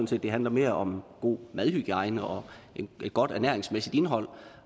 set det handler mere om god madhygiejne og et godt ernæringsmæssigt indhold